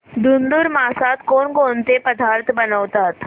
धुंधुर मासात कोणकोणते पदार्थ बनवतात